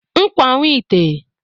ńkwà nwite